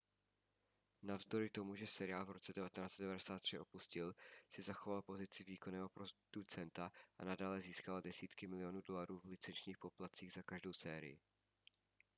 navzdory tomu že seriál v roce 1993 opustil si zachoval pozici výkonného producenta a nadále získával desítky milionů dolarů v licenčních poplatcích za každou sérii